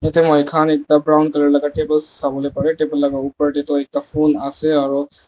yte moikhan ekta brown colour laka table sawolae pare table laka opor tae toh ekta phul ase aro.